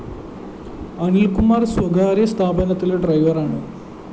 അനില്‍കുമാര്‍ സ്വകാര്യ സ്ഥാപനത്തിലെ ഡ്രൈവറാണ്